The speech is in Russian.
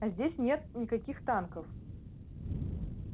а здесь нет никаких танков